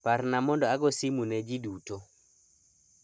Parna mondo ago simu ne jii duto